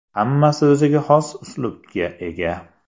Hammasi o‘ziga xos uslubga ega.